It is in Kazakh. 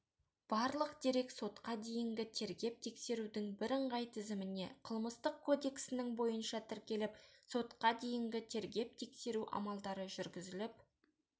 барлық дерек сотқа дейінгі тергеп-тексерудің бірыңғай тізіміне қылмыстық кодексінің бойынша тіркеліп сотқа дейінгі тергеп-тексеру амалдары жүргізіліп